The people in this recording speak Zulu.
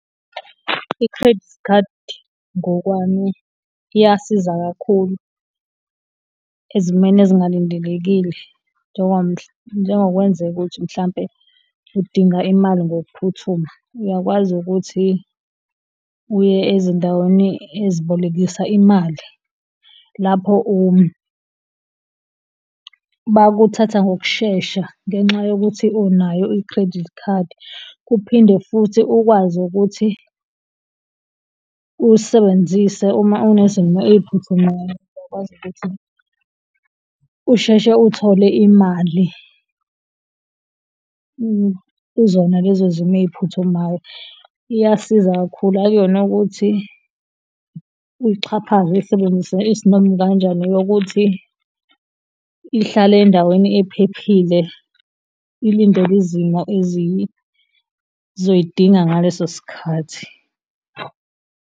I-Credit card, ngokwami iyasiza kakhulu ezimeni ezingalindelekile njengokwenzeka ukuthi mhlawumbe udinga imali ngokuphuthuma, uyakwazi ukuthi uye ezindaweni ezibolekisa imali, lapho bayakuthatha ngokushesha ngenxa yokuthi unayo i-credit card. Kuphinde futhi ukwazi ukuthi uyisebenzise uma unezimo ey'phuthumayo, uzokwazi ukuthi usheshe uthole imali kuzona lezo zimo ey'phuthumayo. Iyasiza kakhulu, akuyona ukuthi uyixhaphaze, uyisebenzise isinoma ikanjani. Eyokuthi ihlale endaweni ephephile, ulindele izimo ezizoyidinga ngaleso sikhathi.